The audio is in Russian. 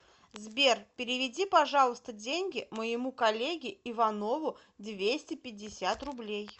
сбер переведи пожалуйста деньги моему коллеге иванову двести пятьдесят рублей